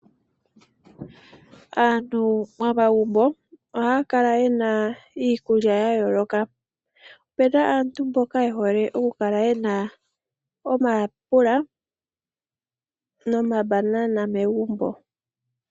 Aantu momagumbo oye hole okukala niikulya ya yooloka ngaashi iiyimati niikwamboga. Ohamu adhika wo omasiga goshinanena ngoka haga longo kolusheno.